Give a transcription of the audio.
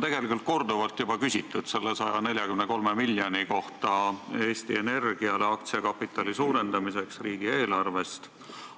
Teilt on juba korduvalt küsitud selle 143 miljoni kohta, mis riigieelarvest antakse Eesti Energiale aktsiakapitali suurendamiseks,